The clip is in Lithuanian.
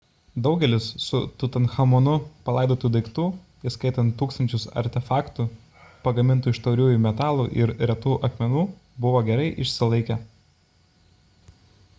daugelis su tutanchamonu palaidotų daiktų įskaitant tūkstančius artefaktų pagamintų iš tauriųjų metalų ir retų akmenų buvo gerai išsilaikę